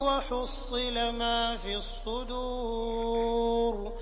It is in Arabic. وَحُصِّلَ مَا فِي الصُّدُورِ